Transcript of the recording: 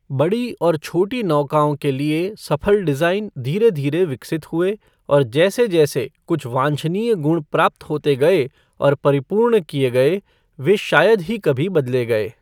बड़ी और छोटी नौकाओं के लिए सफल डिज़ाइन धीरे धीरे विकसित हुए और जैसे जैसे कुछ वांछनीय गुण प्राप्त होते गए और परिपूर्ण किए गए, वे शायद ही कभी बदले गए।